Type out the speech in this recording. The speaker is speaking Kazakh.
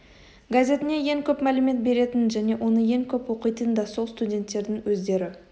газетіне ең көп мәлімет беретін және оны ең көп оқитын да сол студенттердің өздері